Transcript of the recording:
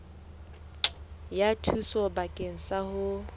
ya thuso bakeng sa ho